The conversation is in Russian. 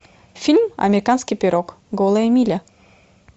фильм американский пирог голая миля